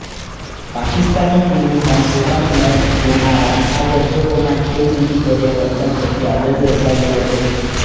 પાકિસ્તાની ટીમે પણ પોતાની મેચ જોનારા આ દર્શકોના ખેલદિલીભર્યા વર્તન પ્રત્યે આદર દર્શાવ્યો હતો